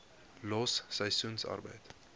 los seisoensarbeid